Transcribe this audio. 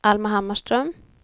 Alma Hammarström